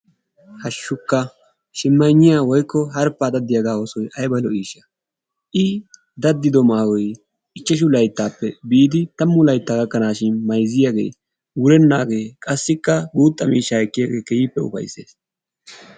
Hashshukka! Shimayinniya woyikko harphphaa daddiyagaa oosoy ayiba lo'iishsha! I daddido maayoy ichchashu layittaappe biidi tammu layittaa gakkanaashin mayizziyagee wurennaagee qassikka guutta miishshaa ekkiyagee keehippe ufayissees.